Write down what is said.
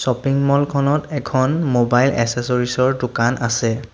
Shopping mall খনত এখন mobile accessories ৰ দোকান আছে।